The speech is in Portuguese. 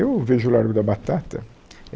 Eu vejo o Largo da Batata.